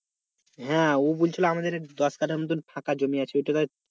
হ্যাঁ ও বলছিল আমাদের দশ কাঠা মতন ফাঁকা জমি আছে ঐটা